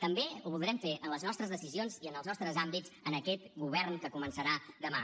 també ho voldrem fer en les nostres decisions i en els nostres àmbits en aquest govern que començarà demà